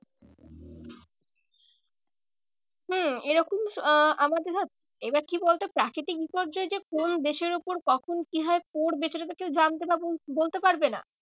হম এরকম আহ আমাদের সাথে এবার কি বলতো প্রাকৃতিক বিপর্যয় যে কোন দেশের ওপর কখন কিভাবে পড়বে সেটা তো কেউ জানতে বা বলতে পারবে না।